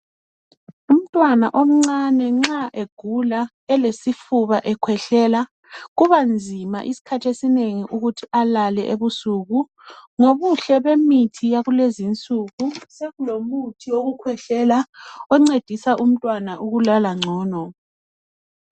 Umntwana omncane nxa egula elesifuba ekhwehlela kuba nzima isikhathi esinengi ukuthi alale ebusuku. Ngobuhle bemithi yakulezinsuku sokulomuthi wokukhwehlela oncedisa umntwana ukuthi alale ngcono.